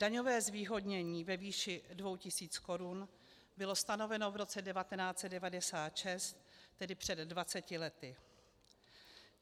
Daňové zvýhodnění ve výši 2 tisíce korun bylo stanoveno v roce 1996, tedy před 20 lety.